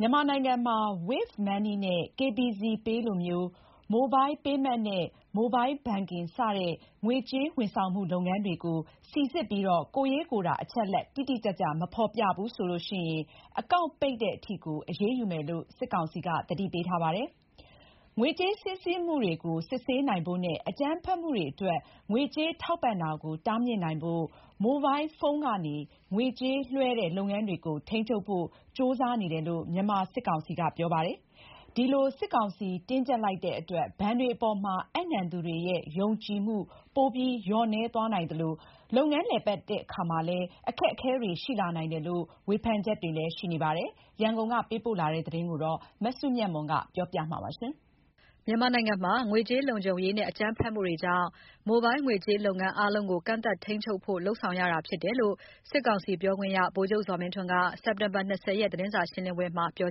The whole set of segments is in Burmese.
မြန်မာနိုင်ငံမှာ Wave Money နဲ့ KBZPay လိုမျိုး Mobile Payment နဲ့ Mobile Banking စတဲ့ ငွေကြေးဝန်ဆောင်မှု လုပ်ငန်းတွေကို စိစစ်ပြီး ကိုယ်ရေးကိုယ်တာအချက်အလက် တိတိကျကျမဖေါ်ပြဘူးဆိုရင် အကောင့်ပိတ်တဲ့အထိအရေးယူမယ်လို့ စစ်ကောင်စီက သတိပေးထားပါတယ်။ ငွေကြေးစီးဆင်းမှုတွေကို စစ်ဆေးနိုင်ဖို့နဲ့ အကြမ်းဖက်မှုတွေအတွက် ငွေကြေး ထောက်ပံ့တာကို တားမြစ်နိုင်ဖို့ မိုဘိုင်းဖုံးကနေ ငွေကြေးလွှဲတဲ့လုပ်ငန်းတွေကို ထိန်းချုပ်ဖို့ ကြိုးစားနေတယ်လို့ မြန်မာစစ်ကောင်စီက ပြောပါတယ်။ ဒီလို စည်းကမ်းတင်းကြပ်လိုက်တဲ့အတွက် ဘဏ်တွေအပေါ်မှာ အပ်နှံသူတွေရဲ့ ယုံကြည်မှုပိုလျော့နည်းသွားနိုင်သလို လုပ်ငန်းလည်ပတ်ရတာတွေမှာ အခက်အခဲတွေ ရှိလာနိုင်တယ်ဆိုတဲ့ ဝေဖန်ချက်တွေလည်း ရှိနေတဲ့အကြောင်း သတင်းပေးပို့ချက်ကို မစုမြတ်မွန်က တင်ပြပေးထားပါတယ်။ မိုဘိုင်းငွေကြေးလုပ်ငန်း အားလုံးကို ကန့်သတ်ထိန်းချုပ်ဖို့ လုပ်ဆောင်လာနေတာတွေက ငွေကြေးလုံခြုံရေးနဲ့ အကြမ်းဖက်မှုတွေကြောင့် အခုလိုလုပ်ရတယ်လို့ စစ်ကောင်စီပြောခွင့်ရ ဗိုလ်ချုပ်ဇော်မင်းထွန်းက စက်တင်ဘာ ၂၀ ရက် တနင်္လာနေ့က သတင်းစာရှင်းလင်းပွဲမှာပြော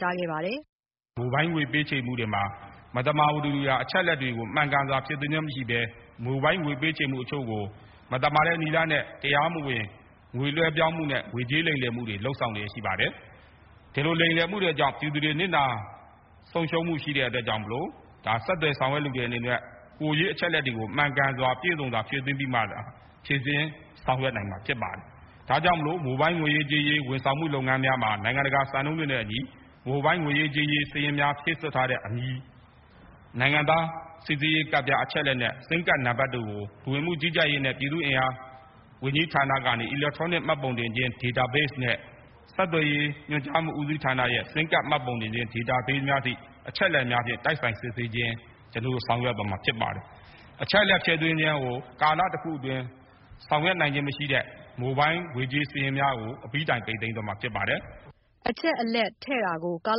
ဆိုခဲ့ပါတယ်။ “မိုဘိုင်းငွေပေးချေမှုတွေမှာ မသမာသူတွေဟာ အချက်အလက်တွေကို မှန်ကန်စွာ ဖြည့်တာမရှိဘဲ မိုဘိုင်းငွေပေးချေမှုကို မသမာတဲ့နည်းလမ်းနဲ့ တရားမဝင် ငွေလွှဲပြောင်းမှုနဲ့ ငွေကြေးလိမ်လည်မှုတွေလုပ်ဆောင်မှုတွေရှိပါတယ်။ ဒီလိုလိမ်လည်မှုတွေကြောင့် ပြည်သူတွေနစ်နာ ဆုံးရှုံးမှုရှိတဲ့အတွက်ကြောင့်မို့ ဆက်သွယ်ဆောင်ရွက်တဲ့သူတွေအနေနဲ့ ကိုယ်ရေးအချက်အလက်တွေကို မှန်ကန်ပြည့်စုံစွာဖြည့် သွင်းပြီးမှသာ ဖြေရှင်းဆောင်ရွက်နိုင်မှာဖြစ်ပါတယ်။ ဒါကြောင့်မို့ မိုဘိုင်းငွေကြေးလုပ်ငန်းတွေမှာ နိုင်ငံတကာစံနှုန်းတွေနဲ့အညီ မိုဘိုင်းငွေကြေးဖြည့်စွက်ထားတဲ့ အမည်၊ နိုင်ငံသားစိစစ်ရေးကတ်နဲ့ ဆင်းမ်ကတ်တို့ကို လူဝင်မှုကြီးကြပ်ရေးဌာနရဲ့ အီလက်ထရောနစ် ဒေတာဘေ့စ်နဲ့ ဆက်သွယ်ရေးဆင်းမ်ကတ် မှတ်ပုံတင်ဒေတာဘေ့စ်အထိ တိုက်ဆိုင် စစ်ဆေးခြင်းဆောင်ရွက်သွားမှာဖြစ်ပါတယ်။ အချက်အလက်ထည့်တာကို ကာလတခုအတွင်း ထည့်နိုင်တာမရှိတဲ့ မိုဘိုင်းငွေသွင်းအကောင့်တွေကို အပြီးတိုင်ပိတ်သိမ်းသွားမှာဖြစ်ပါတယ်။” အချက်အလက်ထည့်တာကို ကာ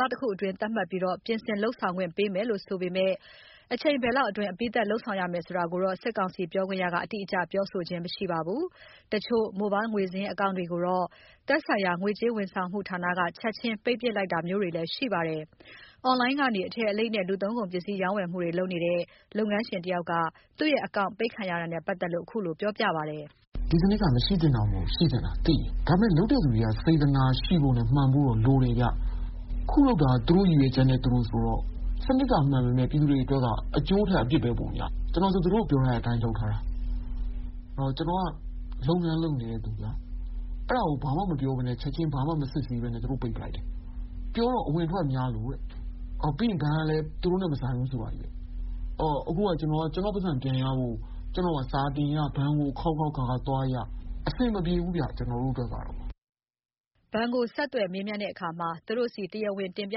လတခုအတွင်းသတ်မှတ်ပြီး ပြင်ဆင်လုပ်ကိုင်ခွင့်ပေးမယ်လို့ဆိုပေ မယ့် အချိန်ဘယ်လောက်အတွင်း အပြီးသတ် လုပ်ဆောင်ရမယ်ဆိုတာကိုတော့ စစ်ကောင်စီပြောခွင့်ရက အတိအကျ ပြောဆိုခြင်း မရှိပါဘူး။ တချို့ Mobile ငွေစာရင်း Account ကိုတော့ သက်ဆိုင်ရာ ငွေကြေး ဝန်ဆောင်မှုဌာနက ချက်ခြင်းပိတ်ပစ်လိုက်တာမျိုးတွေ ရှိနေပါတယ်။ အွန်လိုင်းကနေ အထည်အလိပ်နဲ့ လူသုံးကုန်ပစ္စည်းရောင်းဝယ်မှု တွေလုပ်နေတဲ့ လုပ်ငန်းရှင်တဦးက သူ့အကောင့်ပိတ် ခံရတာနဲ့ပတ်သက်လို့ ခုလိုပြောပြတာပါ။ “ဒီစနစ်က မရှိသင့်တာမဟုတ်ဘူး ရှိသင့်တာ သိတယ်။ ဒါပေမယ့် လုပ်တဲ့သူတွေက စေတနာရှိဖို့မှန်ဖို့လိုတယ်။ ခုလုပ်တာက သူတို့ရည်ရွယ်ချက်နဲ့သူတို့ဆိုတော့ စနစ်ကမှန်ပေမယ့် ပြည်သူတွေက အကျိုးထက် အပြစ်များနေတယ်။ ချက်ချင်းသေချာမစစ်ဆေးဘဲပိတ်တယ်။ အလုပ်လုပ်နေတဲ့သူက ခက်ကုန်တယ်။ ကျနော်က အကုန် အမှန်တိုင်းတင်ထားတာ။ “အဝင်အထွက်များလို့ ” တဲ့။ ဘဏ်က လည်း သူတို့နဲ့ မဆိုင်ဘူးဆိုတာချည်းပဲ။ ခုကျနော့်ငွေရဖို့ ကျနော်မှာ စာတင်ရနဲ့ အလုပ်များရတယ်။ အဆင်မ ပြေဘူးဗျ။” ဘဏ်ကိုဆက်သွယ်မေးမြန်းတဲ့အခါမှာ သူတို့ဆီ တရားဝင်တင်ပြ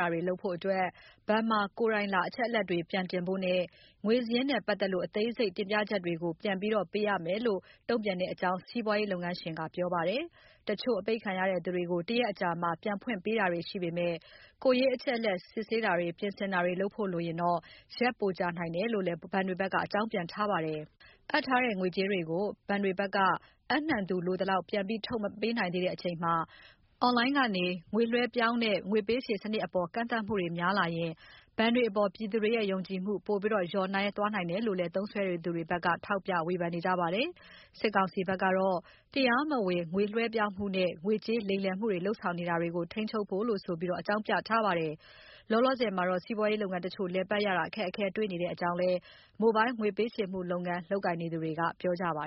တာတွေလုပ်ဖို့၊ ဘဏ်မှာ ကိုယ်တိုင် လာပြီး အချက်အလက်တွေပြန်တင်ဖို့နဲ့ ငွေစာရင်းနဲ့ပတ်သက်လို့ အသေးစိတ်တင်ပြချက်တွေကို ပြန်တင်ပြတာတွေ လုပ်ရမယ်လို့ တုံ့ပြန်တဲ့အကြောင်း စီးပွားရေးလုပ်ငန်းရှင်က ပြောပါတယ်။ တချို့ အပိတ်ခံရတဲ့သူတွေကို တရက်အကြာ ပြန်ဖွင့်ပေးတာတွေ ရှိပေမယ့် ကိုယ်ရေးအချက်အလက် စစ်ဆေးတာတွေ၊ ပြင်ဆင်တာတွေ လုပ်ဖို့လိုရင် ရက်ပိုကြာနိုင်တယ်လို့လည်း ဘဏ်တွေဘက်က အကြောင်းပြန်ထားပါတယ်။ စုဆောင်းထားတဲ့ ငွေကြေးတွေကို ဘဏ်တွေဘက်က လိုသလောက် ပြန်ထုတ်မပေးနိုင်သေးတဲ့ အချိန်မှာ အွန်လိုင်းပေါ်ကနေ ငွေကြေးပေးချေတဲ့စနစ်အပေါ် ကန့်သတ်မှုတွေ များလာရင် ဘဏ်တွေအပေါ်ပြည်သူတွေရဲ့ ယုံကြည်မှု ပို လျော့နည်း သွားနိုင်တယ်လို့လည်း သုံးစွဲသူတွေဘက်က ထောက်ပြဝေဖန်တာတွေလည်း ရှိပါတယ်။ စစ်ကောင်စီဘက်ကတော့ တရားမဝင် ငွေလွှဲပြောင်းမှုနဲ့ ငွေကြေးလိမ်လည်မှုတွေကို ထိန်းချုပ်ဖို့ဆိုပြီး အကြောင်းပြထားပါတယ်။ လောလောဆယ်မှာတော့ စီးပွားရေးလုပ်ငန်းတချို့ လည်ပတ်ရတာ အခက်အခဲတွေ့ရကြောင်းလည်း မိုဘိုင်းငွေပေးချေမှုလုပ်ငန်း လုပ်ကိုင်နေသူတွေက ပြောဆိုပါ